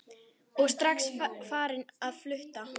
Og strax farin á fullt.